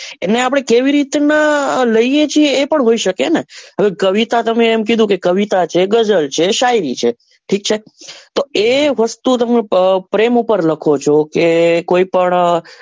એને પાડે કેવી રીત નાં લઈએ છીએ એ પણ હોઈ સકે ને હવે કવિતા તમે એમ કીધું કે કવિતા છે કે ગઝલ છે શાયરી છે ઠીક છે તો એ વસ્તુ તમે પ્રેમ ઉપર લાખો છો કે કોઈ પણ દેશ.